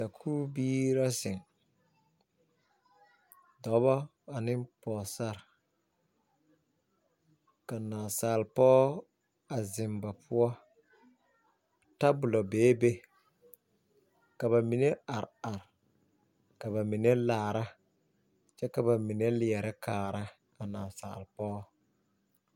Sakubiire la ziŋ, dɔɔbilii ane pɔgbilii ka naasalpɔge a ziŋ ba pʋɔ. Tabolla be la a be kyɛ ka ba mine are are, ka ba mine meŋ laara kyɛ ka ba mine leɛ kaara a naasalpɔg.